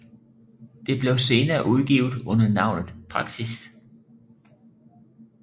Det blev senere udgivet under navnet Praksis